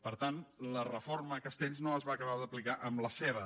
per tant la reforma castells no es va acabar d’aplicar en la seva